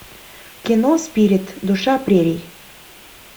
кино спирит душа прерий